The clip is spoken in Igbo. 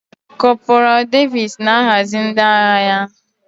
Kọporal Davis na-ahazi ndị agha ya.